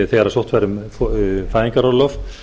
þegar sótt væri um fæðingarorlof